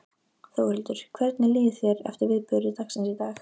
Þórhildur: Hvernig líður þér eftir viðburði dagsins í dag?